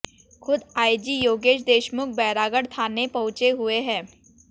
खुद आईजी योगेश देशमुख बैरागढ़ थाने पहुंचे हुए हैं